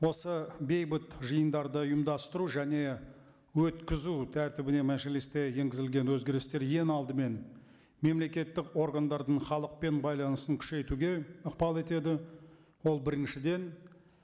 осы бейбіт жиындарды ұйымдастыру және өткізу тәртібіне мәжілісте енгізілген өзгерістер ең алдымен мемлекеттік органдардың халықпен байланысын күшейтуге ықпал етеді ол біріншіден